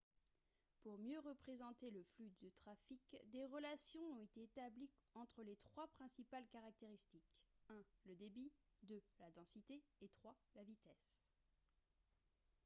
pour mieux représenter le flux de trafic des relations ont été établies entre les trois principales caractéristiques : 1 le débit 2 la densité et 3 la vitesse